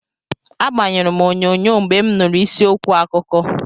Agbanyụrụ m onyonyo mgbe m nụrụ isi okwu akụkọ.